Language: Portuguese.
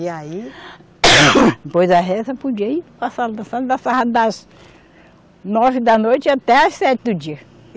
E aí, depois da reza, podia ir para a sala dançando das nove da noite até às sete do dia.